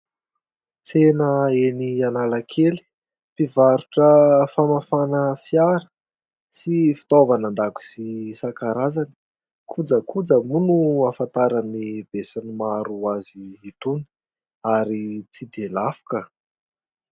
Tsena eny Analakely mpivarotra famafana fiara sy fitaovana an-dakozia isan-karazany ; kojakoja moa no ahafantaran'ny be sy ny maro azy itony ary tsy dia lafo ka.